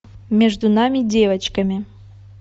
между нами девочками